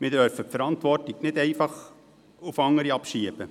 Wir dürfen die Verantwortung nicht einfach auf andere abschieben.